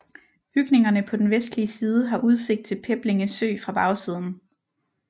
Bygningerne på den vestlige side har udsigt til Peblinge Sø fra bagsiden